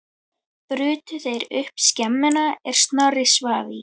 Brutu þeir upp skemmuna er Snorri svaf í.